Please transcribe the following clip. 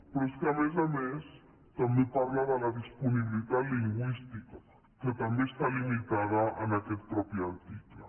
però és que a més a més també parla de la disponibilitat lingüística que també està limitada en aquest mateix article